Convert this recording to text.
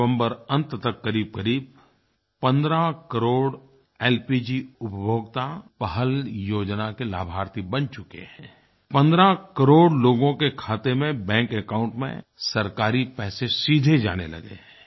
नवम्बर अंत तक करीबकरीब 15 करोड़ एलपीजी उपभोक्ता पहल योजना के लाभार्थी बन चुके हैं 15 करोड़ लोगों के खाते में बैंक एकाउंट में सरकारी पैसे सीधे जाने लगे हैं